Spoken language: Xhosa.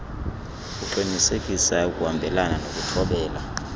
uqinisekisa ukuhambelana nokuthobela